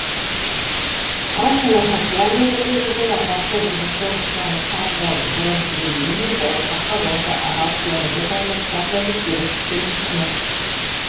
ал саяхатшылармен бірге жүрген атақты режиссер джанкарло горбеллини болашақта осы арал теңізі жайлы кітап жазып деректі фильм түсірмек